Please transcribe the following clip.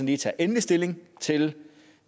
lige tager endelig stilling til